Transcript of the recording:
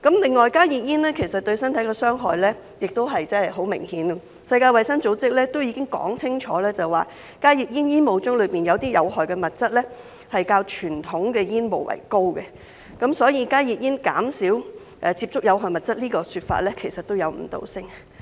另外，加熱煙對身體的傷害亦十分明顯，世界衞生組織已經說清楚，加熱煙煙霧中有些有害物質較傳統的煙霧為高，所以加熱煙減少接觸有害物質這說法其實也有誤導性。